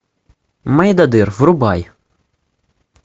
мойдодыр врубай